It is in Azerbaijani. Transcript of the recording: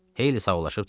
Heyli sağollaşıb çıxdı.